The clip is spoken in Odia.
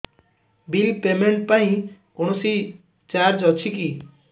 ବିଲ୍ ପେମେଣ୍ଟ ପାଇଁ କୌଣସି ଚାର୍ଜ ଅଛି କି